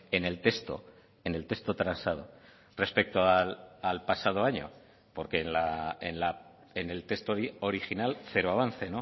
en el texto en el texto transado respecto al pasado año porque en el texto original cero avance